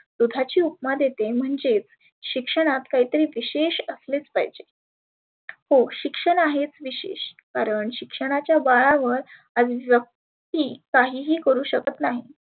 दुधाची उपमा देते म्हणजेच शिक्षणात काहीतरी विषेश असलेच पाहीजे. हो शिक्षण आहेच विशेष कारण शिक्षणाच्या वळणावर व्यक्ती काहि ही करु शकत नाही.